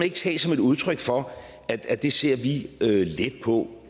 ikke tage som et udtryk for at det ser vi let på